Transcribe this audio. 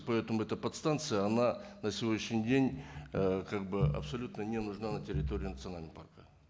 поэтому эта подстанция она на сегодняшний день ыыы как бы абсолютно не нужна на территории национального парка